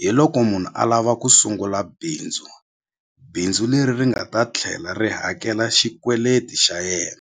hi loko munhu a lava ku sungula bindzu bindzu leri ri nga ta tlhela ri hakela xikweleti xa yena.